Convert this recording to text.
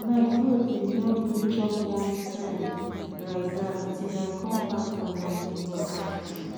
my goat bin no gree chop one time like dat til i come back from my neighbor house